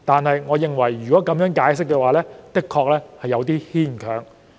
可是，我認為這個解釋有點牽強。